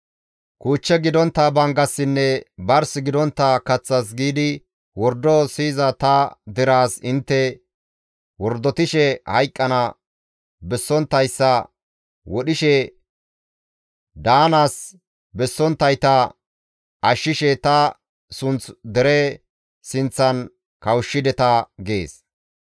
Kuuchche gidontta banggassinne bars gidontta kaththas giidi wordo siyiza ta deraas intte wordotishe hayqqana bessonttayssa wodhishe, daanaas bessonttayta ashshishe ta sunth dere sinththan kawushshideta› gees.